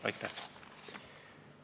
Aitäh!